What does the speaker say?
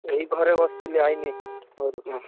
ଏଇ ଘରେ ବସିଥିଲି ଆଇନି ଘରୁ